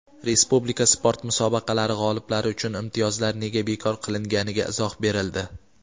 Respublika sport musobaqalari g‘oliblari uchun imtiyozlar nega bekor qilinganiga izoh berildi.